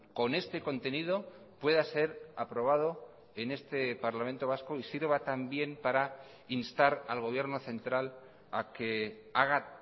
con este contenido pueda ser aprobado en este parlamento vasco y sirva también para instar al gobierno central a que haga